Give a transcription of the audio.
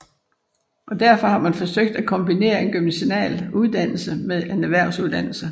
Og derfor har man forsøgt at kombinere en gymnasial uddannelse med en erhvervsuddannelse